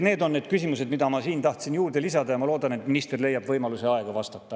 Need on need küsimused, mis ma siin tahtsin juurde lisada, ja ma loodan, et minister leiab võimaluse ja aega vastata.